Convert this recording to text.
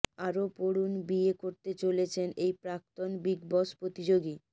আরও পড়ুন বিয়ে করতে চলেছেন এই প্রাক্তন বিগ বস প্রতিযোগী